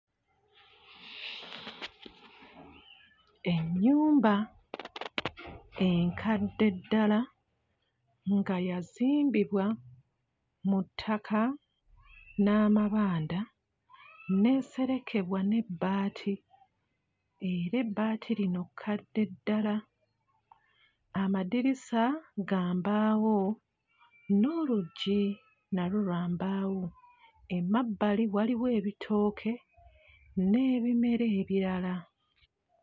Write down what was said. Ennyumba enkadde ddala nga yazimbibwa mu ttaka n'amabanda n'eserekebwa n'ebbaati, era ebbaati lino kkadde ddala. Amadirisa ga mbaawo, n'oluggi nalwo lwa mbaawo. Emabbali waliwo ebitooke n'ebimera ebirala.